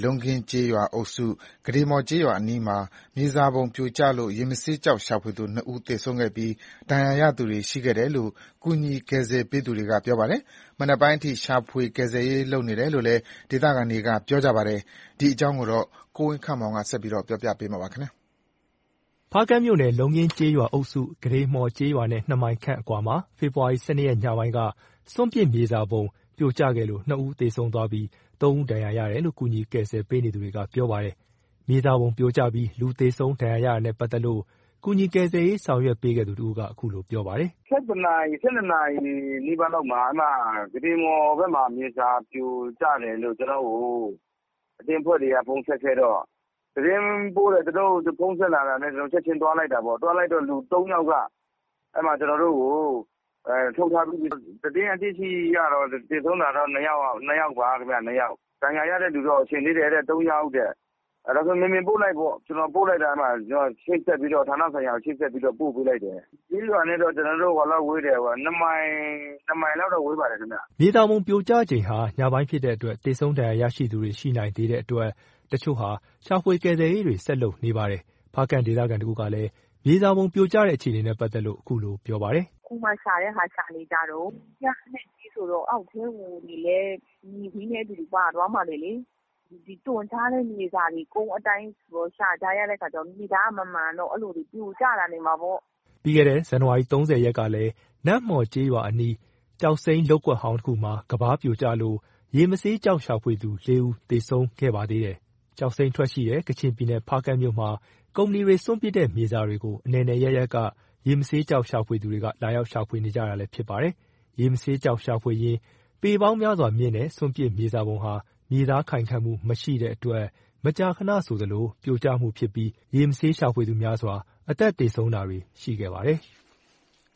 လုံးခင်းကျေးရွာအုပ်စု ကုဋေမှော်ကျေးရွာနားအနီးမှာ မြေစာပုံပြိုကျလို့ ရေမဆေးကျောက် ရှာဖွေသူ ၂ ဦး သေဆုံးခဲ့ပြီး ဒဏ်ရာရသူတွေရှိခဲ့တယ်လို့ ကူညီကယ်ဆယ်ပေးသူတွေက ပြောပါတယ်။ မနက်ပိုင်းအထိ ရှာဖွေကယ်ဆယ်ရေးတွေလုပ်နေတယ်လို့လည်း ဒေသခံတွေက ပြောပါတယ်။ ဒီအကြောင်းကို ကိုဝင်းခန့်မောင်က ပြောပြပါမယ်။ ဖားကန့်မြို့နယ် လုံးခင်းကျေးရွာအုပ်စု ကုဋေမှော်ကျေးရွာနဲ့ ၂ မိုင်ခန့်အကွာမှာ ဖေဖော်ဝါရီ ၁၂ ရက် ညပိုင်းက စွန့်ပစ်မြေစာပုံ မြေစာပုံ ပြိုကျခဲ့လို့ ၂ ဦး သေဆုံးသွားပြီး ၃ ဦး ဒဏ်ရာ ရတယ်လို့ ကူညီကယ်ဆယ် ပေးသူတွေက ပြောပါတယ်။ မြေစာပုံပြိုကျပြီး လူသေဆုံး ဒဏ်ရာရတာနဲ့ပတ်သက်လို့ ကူညီကယ်ဆယ်ရေး ဆောင်ရွက်ပေးခဲ့သူ တဦးက အခုလို ပြောပါတယ်။ “၁၁ နာရီ ၁၂ နာရီလောက်မှာ ကုဋေမှော်ဘက်မှာ မြေစာပြိုကျတယ်လို့ ကျွန်တော့်ကို အသင်းအဖွဲ့တွေက ဖုန်းဆက်တော့ သတင်းပို့ဖုန်းဆက်တော့ သူတို့ဖုန်းဆက်တာနဲ့ ချက်ချင်းသွားလိုက်တာပေါ့။ လူ ၃ ယောက်က ထုတ်ထားပြီးပြီ။ သတင်းသိရှိရတာက သေဆုံးတာက ၂ ယောက်ပါခင်ဗျ။ ဒဏ်ရာရတဲ့သူတော့ ရှင်သေးတယ် ၃ ယောက်။ ကျွန်တော် ဌာနဆိုင်ရာကို ချိတ်ဆက်ပြီးတော့ ပို့ပေးလိုက်တယ်။ ကျေးရွာနဲ့တော့ ၂ မိုင်လောက်ဝေးတယ်။” မြေစာပုံပြိုကျချိန်ဟာ ညပိုင်းဖြစ်တဲ့အတွက် သေဆုံးဒဏ်ရာရရှိသူတွေ ရှိနိုင်သေးတဲ့အတွက် အချို့တွေဟာ ရှာဖွေကယ်ဆယ်ရေးတွေ ဆက်လုပ်နေပါတယ်။ ဖားကန့်ဒေသခံတဦးကလည်း မြေစာပုံပြိုကျတဲ့အခြေအနေနဲ့ ပတ်သက်လို့ အခုလို ပြောပြပါတယ်။ “အခုမှ ရှာတဲ့ဟာ ရှာနေကြတုန်း။ ကျင်းအနက်ကြီးဆိုတော့ အောက်ထဲကိုလည်း မြေကြီးနဲ့အတူပါသွားမှာတွေလေ။ သွန်းချတဲ့မြေစာတွေ ကုန်းအတိုင်း ရှာကြရတာဆိုတော့ မြေသားမမှန်တော့ အဲ့လိုတွေပြိုကျတာ ဖြစ်မှာပေါ့။” ပြီးခဲ့တဲ့ ဇန်နဝါရီ ၃၀ ရက်ကလည်း နမ့်မှော်ကျေးရွာအနီးက ကျောက်စိမ်းးလုပ်ကွက်ဟောင်းတခုမှာ ကမ်းပါးပြိုကျလို့ ရေမဆေးကျောက်ရှာဖွေသူ ၄ ဦးသေဆုံးခဲ့ပါသေးတယ်။ ကျောက်စိမ်းထွက်ရှိတဲ့ ကချင်ပြည်နယ် ဖားကန့်မြို့မှာ ကုမ္ပဏီတွေက စွန့်ပစ်တဲ့မြေစာတွေကို အနယ်နယ် အရပ်ရပ်က ရေမဆေးကျောက်ရှာဖွေသူတွေက လာရောက်ရှာဖွေနေကြတာလည်းဖြစ်ပါတယ်။ ရေမဆေးကျောက်ရှာဖွေရင်း ပေပေါင်းများစွာမြင့်တဲ့ စွန့်ပစ်မြေစာပုံဟာ မြေသား ခိုင်ခန့်မှု မရှိတဲ့အတွက် မကြာခဏဆိုသလို ပြိုကျမှု ဖြစ်တဲ့အတွက် ရေမဆေးရှာဖွေသူ များစွာ အသက်သေဆုံးတာတွေ ရှိခဲ့ပါတယ်။